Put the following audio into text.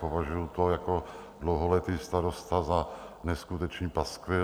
Považuji to jako dlouholetý starosta za neskutečný paskvil.